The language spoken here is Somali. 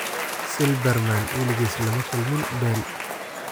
Silbermann waligiis lama kulmin Bale.